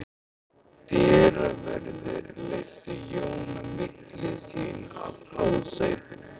Dyraverðir leiddu Jón á milli sín að hásætinu.